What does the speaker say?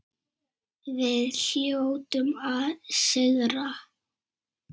Við hljótum að sigra